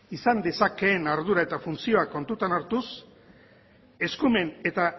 izan dezakeen ardura eta funtzioa kontutan hartuz eskumen eta